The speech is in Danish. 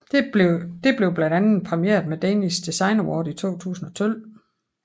Det blev blandt andet præmieret med Danish Design Award i 2012